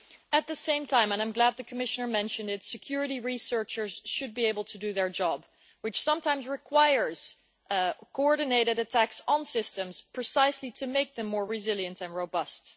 At the same time and I am glad the Commissioner mentioned it security researchers should be able to do their job, which sometimes requires coordinated attacks on systems precisely to make them more resilient and robust.